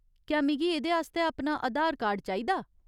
क्या मिगी एह्दे आस्तै अपना आधार कार्ड चाहिदा ?